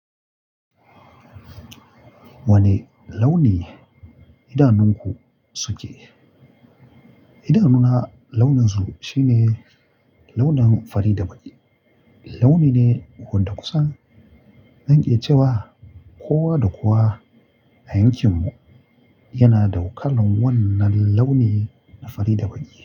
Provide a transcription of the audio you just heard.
Wane launi idanunku suke? Idanuna launin su shine launin fari da baƙi. Launi ne wadda kusan. Zan iya cewa kowa da kowa a yankin mu yana da kalnr wannan launi na fari da baƙi.